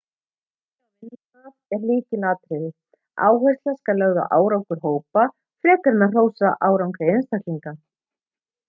samlyndi á vinnustað er lykilatriði áhersla skal lögð á árangur hópa frekar en að hrósa árangri einstaklinga